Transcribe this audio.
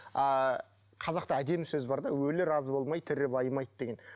ыыы қазақта әдемі сөз бар да өлі разы болмай тірі байымайды деген